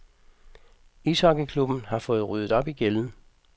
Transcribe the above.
Ishockeyklubben har fået ryddet op i gælden.